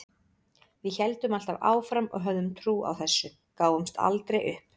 Við héldum alltaf áfram og höfðum trú á þessu, gáfumst aldrei upp.